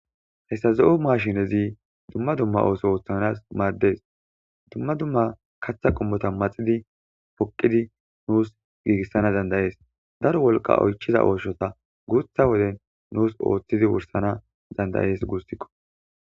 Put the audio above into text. Hessa zo'o maashinezi dumma dumma ooso ooththanas maardees dumma dumma kaththa qummota maxidi poqqidi nuus giigissana dandayees daro wolqa oychiza ooshota guutha woden nuus ooththidi wursana dandayees guusikko.